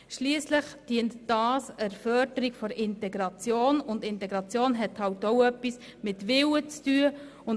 Schliesslich dient dies der Förderung der Integration, und dies hat auch etwas mit dem Willen zu tun.